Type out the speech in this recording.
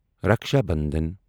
Raksha Bandhan